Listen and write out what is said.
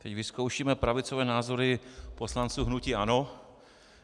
Teď vyzkoušíme pravicové názory poslanců hnutí ANO.